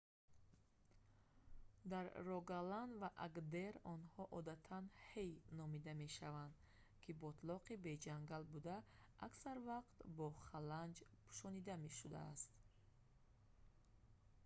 дар рогаланд ва агдер онҳо одатан «ҳэй» номида мешаванд ки ботлоқи беҷангал буда аксар вақт бо халанҷ пӯшонида шудааст